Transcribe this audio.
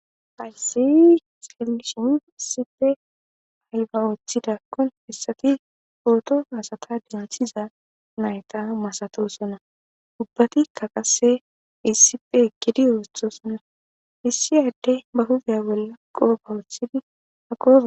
Hayssii xeellishin issipe ayba ooththidakkon hessati pooto asata denthiza nayta masatoosona ubbatikka qasse issipe eqqidi oothoosona. Issi addy ba huphiya bolla qooba oothidi ako.